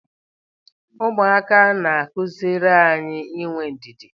Ụmụaka na-akụziri anyị inwe ndidi.